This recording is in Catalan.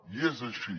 i és així